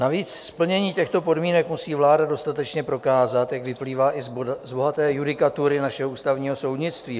Navíc splnění těchto podmínek musí vláda dostatečně prokázat, jak vyplývá i z bohaté judikatury našeho ústavního soudnictví.